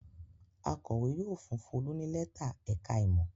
Akọ̀wé yóò fún Folú ní lẹ́tà ẹ̀ka-ìmọ̀.